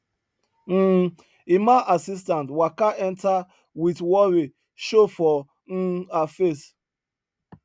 um emma assistant waka enter with worry show for um her face